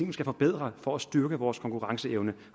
vi skal forbedre for at styrke vores konkurrenceevne